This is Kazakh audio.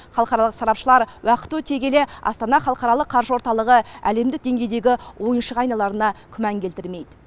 халықаралық сарапшылар уақыт өте келе астана халықаралық қаржы орталығы әлемдік деңгейдегі ойыншыға айналарына күмән келтірмейді